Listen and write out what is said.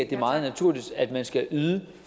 det er meget naturligt at man skal yde